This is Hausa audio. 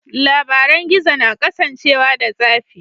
Labaran gizo na kasancewa da tsafi.